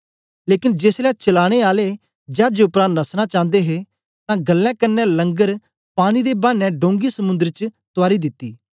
लेकन जेसलै चलाने आले चाजे उपरा नसना चांदे हे तां गल्लें कन्ने लंगर पाने दे बाने डोंगी समुंद्र च तुआरी दिती